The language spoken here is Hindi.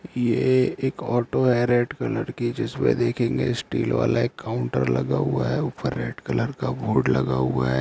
यह एक ऑटो है रेड कलर की जिसमे देखेंगे स्टील वाला एक काउन्टर लगा हुआ है ऊपर रेड कलर का बोर्ड लगा हुआ है।